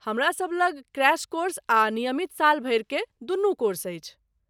हमरासभ लग crash course आ नियमित साल भरि क दुनू कोर्स अछि।